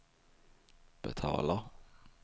betalar